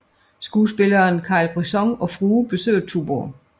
Skuespilleren Carl Brisson og frue besøger Tuborg